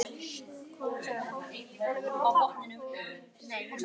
Veistu hvað? sagði Palli og reyndi að róa Nikka.